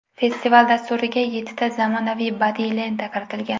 Festival dasturiga yettita zamonaviy badiiy lenta kiritilgan.